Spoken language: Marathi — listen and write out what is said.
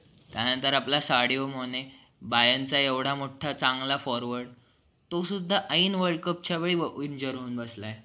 madam अ आता हे I know रस्त्याचं काम वगैरे चालू आहे पण किती दिवस चालणारे असं हे कारण मी का work from home